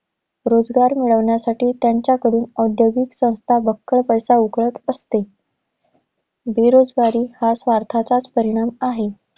रोजगार मिळवण्यासाठी त्यांच्याकडून औद्योगिक संस्था बक्कळ पैसा उकळत असते. बेरोजगारी हा स्वर्थाचाच परिणाम आहे.